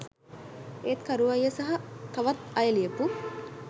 ඒත් කරු අයිය සහ තවත් අය ලියපු